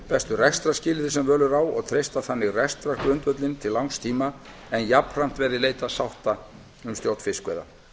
bestu rekstrarskilyrði sem völ er á og treysta þannig rekstrargrundvöllinn til langs tíma en jafnframt verði leitað sátta um stjórn fiskveiða